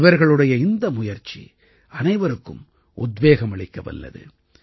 இவர்களுடைய இந்த முயற்சி அனைவருக்கும் உத்வேகம் அளிக்கவல்லது